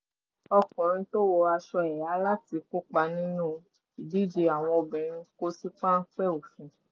ọkùnrin tó wọ aṣọ ẹhà láti kópa nínú ìdíje àwọn obìnrin kò sí páńpẹ́ òfin